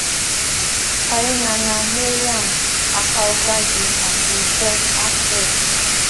hyenana maryam apaokágí àti josh alfred